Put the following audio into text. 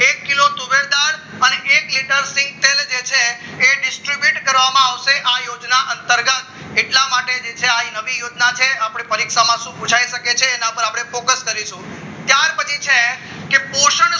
એક કિલો તુવેર દાળ એક લીટર સીંગતેલ જે છે એ distribute કરવામાં આવશે આ યોજના અંતર્ગત એટલા માટે જે છે આ નવી યોજના છે પરીક્ષામાં શું પુછાય શકે છે એના પર ફોકસ કરીશું ત્યાર પછી છે કે પોષણ